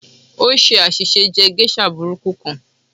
O ṣe aṣiṣe jẹ geisha buburu kan.